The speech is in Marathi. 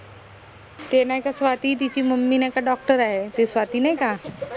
ते नाई का स्वाती तिची mummy नाई का doctor ए ते स्वाती नाई का